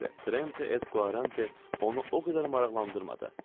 Trente et Quarante onu o qədər maraqlandırmadı.